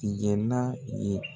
tigɛna ye